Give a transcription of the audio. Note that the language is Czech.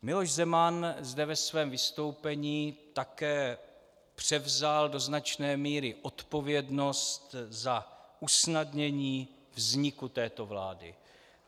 Miloš Zeman zde ve svém vystoupení také převzal do značné míry zodpovědnost za usnadnění vzniku této vlády.